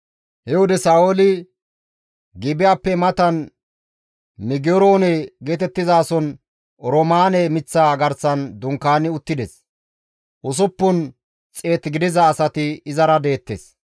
He wode Sa7ooli Gibi7appe matan Migeroone geetettizason oroomaane miththa garsan dunkaani uttides; usuppun xeet gidiza asati izara deettes.